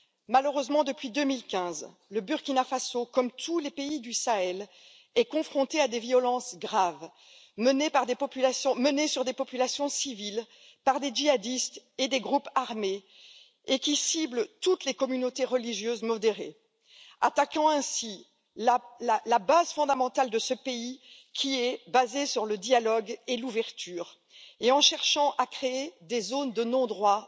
Malheureusement, depuis 2015, le Burkina Faso, comme tous les pays du Sahel, est confronté à des violences graves, exercées sur des populations civiles par des djihadistes et des groupes armés, qui ciblent toutes les communautés religieuses modérées, attaquant ainsi la base fondamentale de ce pays qui repose sur le dialogue et l'ouverture, et cherchant à créer des zones de non droit